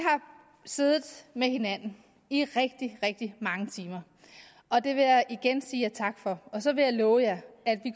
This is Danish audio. siddet med hinanden i rigtig rigtig mange timer og det vil jeg igen sige tak for og så vil jeg love at vi